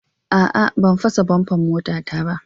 A'a, ban fasa "bummer "motata ba.